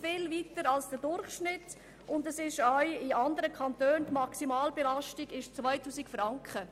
er liegt weit über dem Durchschnitt, und in anderen Kantonen beträgt die Maximalbelastung 2000 Franken.